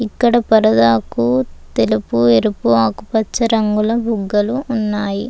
ఇక్కడ పరదాకు తెలుపు ఎరుపు ఆకుపచ్చ రంగుల బుగ్గలు ఉన్నాయి.